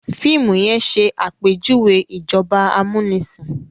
fiimu yen ṣe àpèjúwe ìjọba amunisin